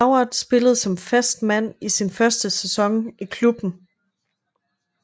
Howard spillede som fast mand i sin første sæson i klubben